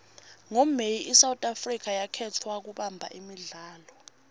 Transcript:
ngo may isouth africa yakhetfwa kubamba imidlalo